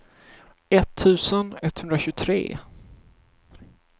etttusen etthundratjugotre